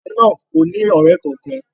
Oba naa ko ni ọrẹ kankan.